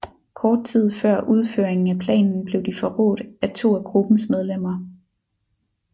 Kort tid før udføringen af planen blev de forrådt af to af gruppens medlemmer